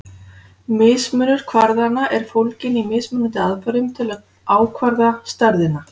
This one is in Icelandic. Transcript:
Mismunur kvarðanna er fólginn í mismunandi aðferðum til að ákvarða stærðina.